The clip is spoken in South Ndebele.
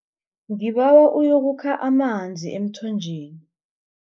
Ngibawa uyokukha amanzi emthonjeni.